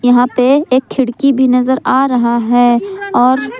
यहां पे एक खिड़की भी नजर आ रहा है और--